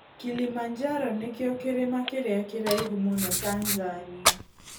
Kilimanjaro nĩkĩo kĩrĩma kĩrĩa kĩraihu mũno Tanzania.